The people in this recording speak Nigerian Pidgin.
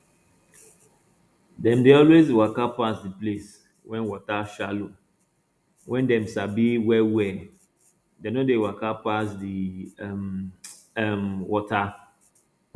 dem dey always waka pass the place wey water shallow wey dem sabi well well dem no dey waka pass the deep um um water